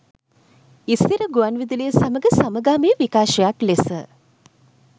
ඉසිර ගුවන්විදුලිය සමඟ සමගාමී විකාශයක් ලෙස